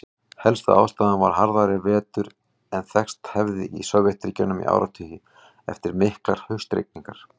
Helsta ástæðan var harðari vetur en þekkst hafði í Sovétríkjunum í áratugi, eftir miklar haustrigningar.